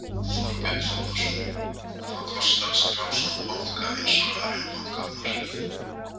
Þorbjörn Þórðarson: Hvað kostar að skrá svona banka eins og Arion banka á markað?